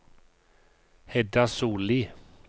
Hedda Sollie